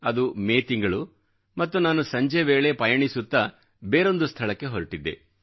ಅದು ಮೇ ತಿಂಗಳು ಮತ್ತು ನಾನು ಸಂಜೆ ವೇಳೆ ಪಯಣಿಸುತ್ತಾ ಬೇರೊಂದು ಸ್ಥಳಕ್ಕೆ ಹೊರಟಿದ್ದೆ